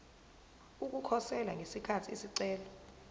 ukukhosela ngesikhathi isicelo